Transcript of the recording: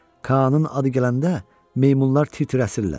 Kaanın adı gələndə meymunlar titrəşirlər.